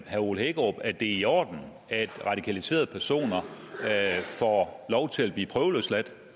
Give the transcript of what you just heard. herre ole hækkerup at det er i orden at radikaliserede personer får lov til at blive prøveløsladt